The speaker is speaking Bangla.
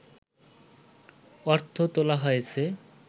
অর্থ তোলা হয়েছে